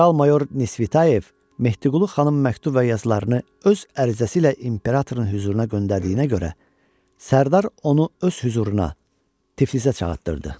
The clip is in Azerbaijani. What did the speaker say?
General mayor Nisvitayev Mehdiqulu xanımın məktub və yazılarını öz ərizəsi ilə imperatorun hüzuruna göndərdiyinə görə sərdar onu öz hüzuruna Tiflisə çağırdırdı.